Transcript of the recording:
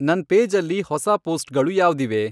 ನನ್ ಪೇಜಲ್ಲಿ ಹೊಸಾ ಪೋಸ್ಟ್ಗಳು ಯಾವ್ದಿವೆ